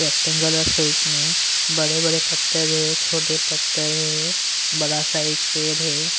Rectangular shape में बड़े-बड़े पत्थर है छोटे पत्थर है बड़ा सा एक पैर है।